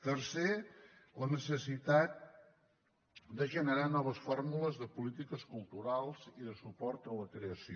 tercer la necessitat de generar noves fórmules de polítiques culturals i de suport a la creació